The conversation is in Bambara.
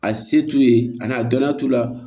A se t'u ye a n'a dɔniya t'u la